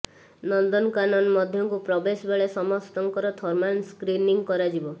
ନନ୍ଦନକାନନ ମଧ୍ୟକୁ ପ୍ରବେଶ ବେଳେ ସମସ୍ତଙ୍କର ଥର୍ମାଲ ସ୍କ୍ରିନିଂ କରାଯିବ